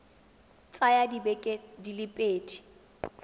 tsaya dibeke di le pedi